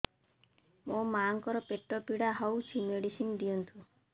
ମୋ ମାଆଙ୍କର ପେଟ ପୀଡା ହଉଛି ମେଡିସିନ ଦିଅନ୍ତୁ